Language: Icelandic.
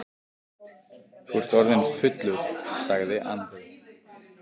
Þú ert orðinn fullur, sagði Andri.